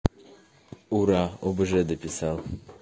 ура обж дописал